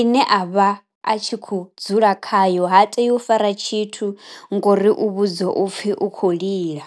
ine a vha a tshi kho dzula khayo ha tei u fara tshithu ngori u vhudziwa u pfi u khou lila.